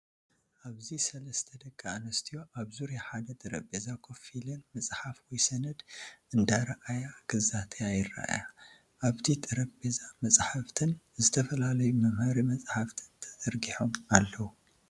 ኣብዚ ሰለስተ ደቂ ኣንስትዮ ኣብ ዙርያ ሓደ ጠረጴዛ ኮፍ ኢለን መጽሓፍ ወይ ሰነድ እንዳረኣያ ክዛተያ ይረኣያ። ኣብቲ ጠረጴዛ መጻሕፍትን ዝተፈላለዩ መምሃሪ መጻሕፍትን ተዘርጊሖም ኣለዉ።